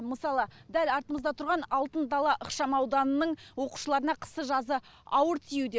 мысалы дәл артымызда тұрған алтын дала ықшамауданының оқушыларына қысы жазы ауыр тиюде